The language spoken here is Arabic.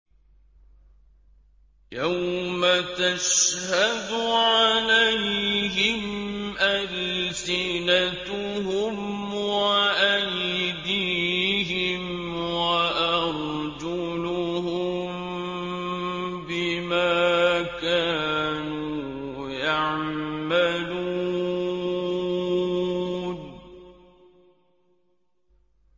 يَوْمَ تَشْهَدُ عَلَيْهِمْ أَلْسِنَتُهُمْ وَأَيْدِيهِمْ وَأَرْجُلُهُم بِمَا كَانُوا يَعْمَلُونَ